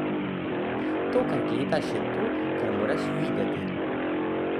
To, kar gledaš, je to, kar moraš videti.